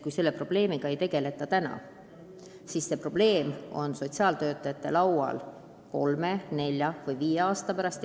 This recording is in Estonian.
Kui selle probleemiga ei tegeleta praegu, siis on see suur probleem sotsiaaltöötajate laual kolme, nelja või viie aasta pärast.